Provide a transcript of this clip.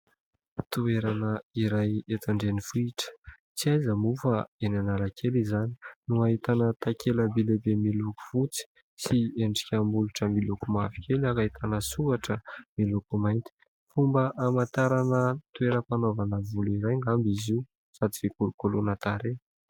Toerana iray eto an-drenivohitra, tsy aiza moa fa eny Analakely izany, no ahitana takela-by lehibe miloko fotsy sy endrika molotra miloko mavokely ary ahitana soratra miloko mainty. Fomba hamantarana toeram-panaovana volo iray angamba izy io sady fikolokoloana tarehy.